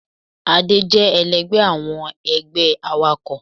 Adé jé èlẹgbẹ́ awọn ẹgbẹ́ àwákọ